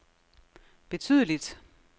betydeligt